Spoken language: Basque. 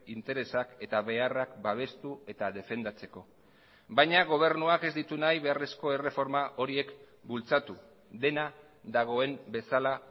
interesak eta beharrak babestu eta defendatzeko baina gobernuak ez ditu nahi beharrezko erreforma horiek bultzatu dena dagoen bezala